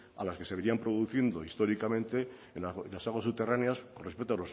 a las que se venían produciendo históricamente en las aguas subterráneas con respecto